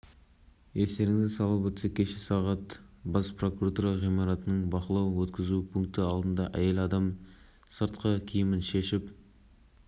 қазір оның жазылғанын күтеміз қолдан келгенше көмектесеміз бұл іспен жеке өзім айналысамын ол әйелдің жанайқайын тыңдамағандардың